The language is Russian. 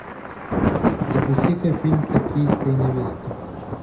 запусти ка фильм токийская невеста